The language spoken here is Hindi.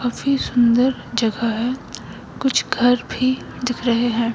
काफी सुंदर जगह है कुछ घर भी दिख रहे है।